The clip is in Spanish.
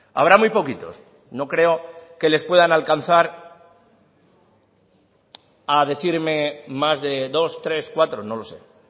habrá muy poquitos no creo que les puedan alcanzar a decirme más de dos tres cuatro no lo sé